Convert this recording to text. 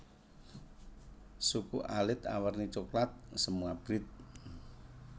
Suku alit awerni coklat semu abrit